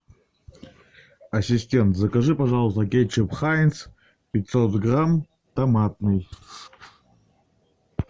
ассистент закажи пожалуйста кетчуп хайнц пятьсот грамм томатный